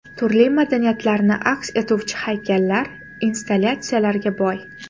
Turli madaniyatlarni aks etuvchi haykallar, installyatsiyalarga boy.